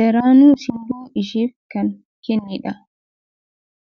daranuu simboo isheef kan kennedha.